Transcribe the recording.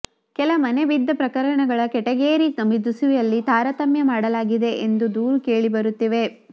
ಕೆಲ ಮನೆ ಬಿದ್ದ ಪ್ರಕರಣಗಳ ಕೆಟಗೇರಿ ನಮೂದಿಸುವಲ್ಲಿ ತಾರತಮ್ಯ ಮಾಡಲಾಗಿದೆ ಎಂಬ ದೂರು ಕೇಳಿಬರುತ್ತಿವೆ